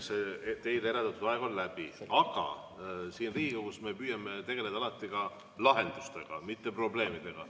Teile eraldatud aeg on läbi, aga me püüame siin Riigikogus alati tegeleda ka lahendustega, mitte probleemidega.